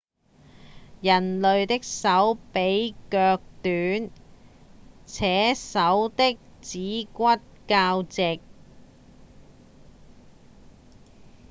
人類的手比腳短且手的指骨較直